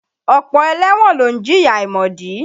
Ọ̀pọ̀ ẹlẹ́wọ̀n ló ń jìyà àìmọ̀dí.